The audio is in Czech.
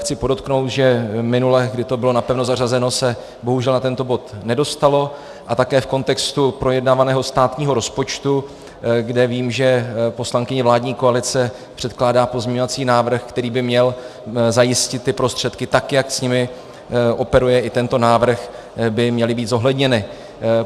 Chci podotknout, že minule, kdy to bylo napevno zařazeno, se bohužel na tento bod nedostalo, a také v kontextu projednávaného státního rozpočtu, kde vím, že poslankyně vládní koalice předkládá pozměňovací návrh, který by měl zajistit ty prostředky tak, jak s nimi operuje i tento návrh, by měly být zohledněny.